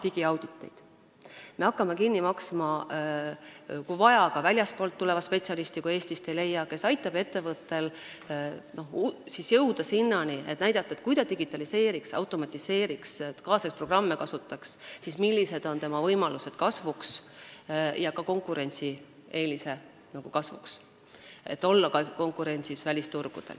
Kui vaja, siis me hakkame kinni maksma ka väljastpoolt tulevaid spetsialiste, kui Eestist neid ei leia, kes aitavad ettevõttel näha, et kui ta digitaliseeriks, automatiseeriks, kasutaks kaasaegseid programme, siis millised oleksid tema võimalused kasvuks ja konkurentsieelised, et püsida ka välisturgudel konkurentsis.